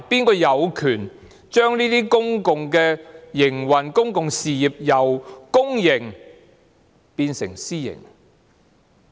誰有權將這些公用事業的營運模式，由公營變成私營？